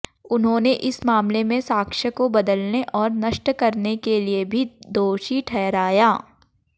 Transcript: उन्होंने इस मामले में साक्ष्य को बदलने और नष्ट करने के लिए भी दोषी ठहराया